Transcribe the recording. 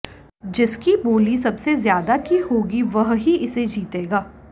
जिसकी बोली सबसे ज्यादा की होगी वह ही इसे जीतेगा